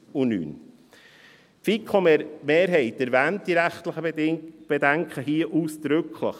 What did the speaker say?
Die FiKo-Mehrheit erwähnt diese rechtlichen Bedenken hier ausdrücklich.